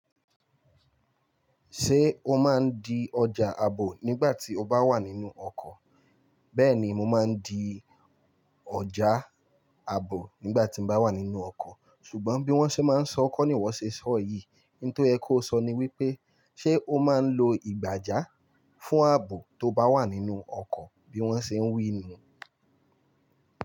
Ṣé o máa ń di ọjà ààbò nígbà tí o bá wà nínú ọkọ̀? Bẹ́ẹ̀ni, mo máa ń di ọjà ààbò nígbà tí mo bá wà nínú ọkọ̀. Ṣùgbọ́n bí wọ́n ṣe máa ń sọ, kọ́ ni iwọ́ ṣe sọ yìí. Ntó yẹ kó sọ ni wípé, ṣe o máa ń lo ìgbàjà fún ààbò tó bá wà nínú ọkọ̀ bí wọ́n ṣe ń wí ni?